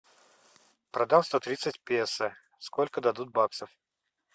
продам сто тридцать песо сколько дадут баксов